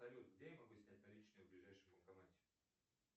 салют где я могу снять наличные в ближайшем банкомате